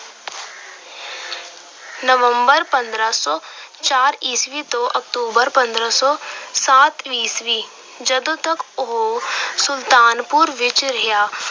November ਪੰਦਰਾਂ ਸੌ ਚਾਰ ਈਸਵੀ ਤੋਂ ਨਵੰਬਰ ਪੰਦਰਾਂ ਸੌ ਸੱਤ ਈਸਵੀ, ਜਦੋਂ ਤੱਕ ਉਹ ਸੁਲਤਾਨਪੁਰ ਵਿੱਚ ਰਿਹਾ,